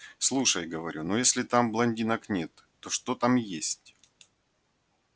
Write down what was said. слушай говорю ну если там блондинок нет то что там есть